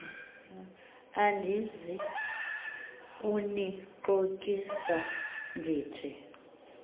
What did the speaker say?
andizi kunixokisa ndithi